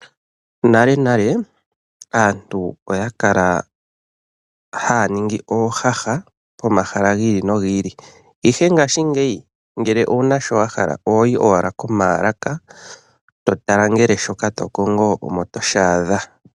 Monalenale aantu oya kala haya ningi oohaha, komahala gi ili nogi ili. Ihe ngashingeyi ngele owuna sho wa hala ohoyi, owala komaalaka, totala ngele shoka tokongo omo toshi adha.